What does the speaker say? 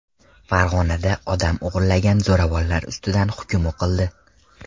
Farg‘onada odam o‘g‘irlagan zo‘ravonlar ustidan hukm o‘qildi.